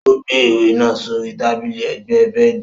Ó gbé ìwé náà sórí tábìlì ẹ̀gbẹ́ bẹẹdi.